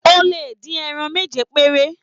O lè dín ẹran méje péré.